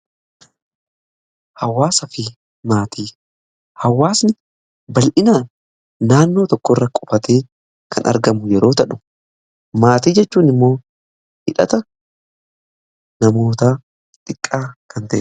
Hawaasni bal'inaa naannoo tokko irra qubatee kan argamu yeroo tahu; maatii jechuun immoo hidhata namoota xiqqaa kan ta'e.